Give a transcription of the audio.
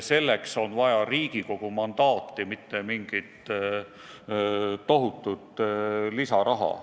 Selleks on vaja Riigikogu mandaati, mitte mingit tohutut lisasummat.